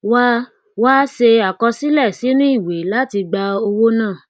wá wá ṣe àkọsílẹ sinu iwe láti gba owó náà